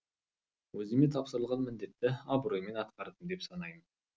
өзіме тапсырылған міндетті абыроймен атқардым деп санаймын